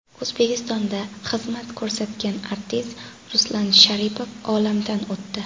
O‘zbekistonda xizmat ko‘rsatgan artist Ruslan Sharipov olamdan o‘tdi.